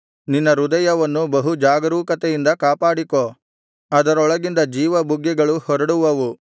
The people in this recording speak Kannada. ನಿನ್ನ ಹೃದಯವನ್ನು ಬಹು ಜಾಗರೂಕತೆಯಿಂದ ಕಾಪಾಡಿಕೋ ಅದರೊಳಗಿಂದ ಜೀವಬುಗ್ಗೆಗಳು ಹೊರಡುವವು